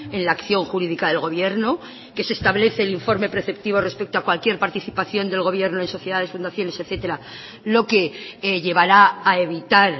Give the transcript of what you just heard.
en la acción jurídica del gobierno que se establece el informe preceptivo respecto a cualquier participación del gobierno en sociedades fundaciones etcétera lo que llevará a evitar